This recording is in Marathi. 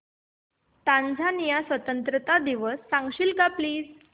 टांझानिया स्वतंत्रता दिवस सांगशील का प्लीज